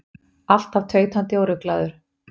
Alltaf tautandi og ruglaður.